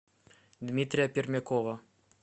дмитрия пермякова